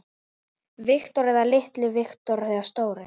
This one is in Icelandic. Viktor litli eða Victor stóri?